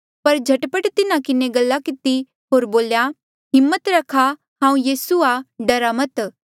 पर झट पट तिन्हा किन्हें गल्ला किती होर बोल्या हिम्मत रखा हांऊँ यीसू आ डरा मत